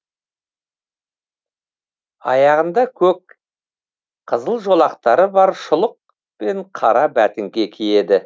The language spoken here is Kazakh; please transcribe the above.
аяғында көк қызыл жолақтары бар шұлық пен қара бәтеңке киеді